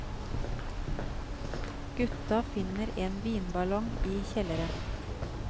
Gutta finner en vinballong i kjelleren.